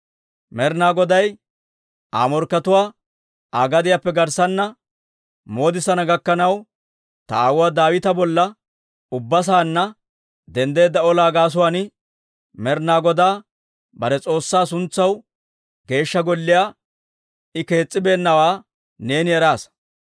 «Med'inaa Goday Aa morkkatuwaa Aa gediyaappe garssana moodisana gakkanaw, ta aawuwaa Daawita bolla ubbaa saanna denddeedda olaa gaasuwaan, Med'inaa Godaa bare S'oossaa suntsaw Geeshsha Golliyaa I kees's'ibeennawaa neeni eraasa.